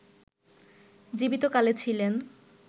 জীবিত কালে ছিলেন